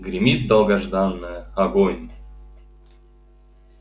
гремит долгожданное огонь